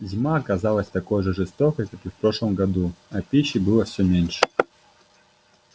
зима оказалась такой же жестокой как и в прошлом году а пищи было всё меньше